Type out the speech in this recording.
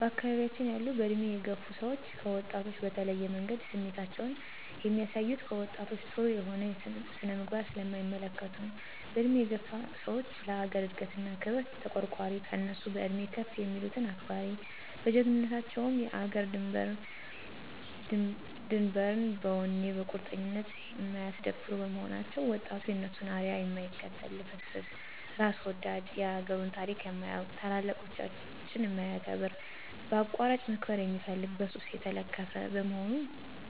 በአካባቢያችን ያሉ በእድሜ የገፋ ሰዎች ከወጣቶች በተለየ መንገድ ስሜታቸውን የሚያሳዩት፣ ከወጣቶች ጥሩ የሆነ ስነ-ምግባር ስለማይመለከቱ ነው። በእድሜ የገፋ ሰዎች ለአገር እድገት እና ክብር ተቋርቋሪ፣ ከእነሱ በእድሜ ከፍ የሚሉትን አክባሪ፣ በጀግንነታቸ ውም የአገርን ዳርድንበር በወኔ በቁርጠኝነት የማያስደፍሩ በመሆናቸው፤ ወጣቱም የእነሱን አርያ የማይከተል ልፍስፍስ፣ እራስ ወዳድ፣ የአገሩን ታሪክ የማያውቅ፣ ታላላቆችን የማያከብር፣ በአቋራጭ መክበር የሚፈልግ፣ በሱስ የተለከፈ፣ በመሆኑ